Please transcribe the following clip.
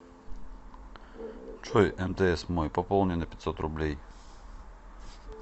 джой мтс мой пополни на пятьсот рублей